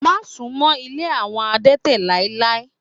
Má sunmọ ilé àwọn adete láéláé!